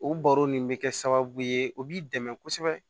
O baro nin bɛ kɛ sababu ye o b'i dɛmɛ kosɛbɛ